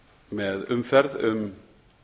með umferð um